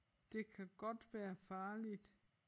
Det kan godt være farligt